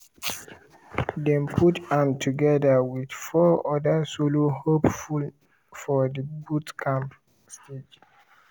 dem put am together with four other solo hopefuls for di boot camp stage.